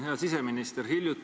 Hea siseminister!